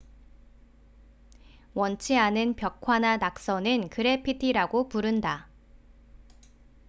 원치 않은 벽화나 낙서는 그래피티라고 부른다